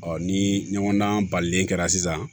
ni ɲɔgɔndan balilen kɛra sisan